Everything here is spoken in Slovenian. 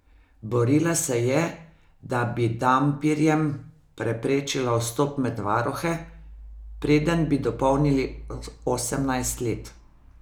Borila se je, da bi dampirjem preprečila vstop med varuhe, preden bi dopolnili osemnajst let.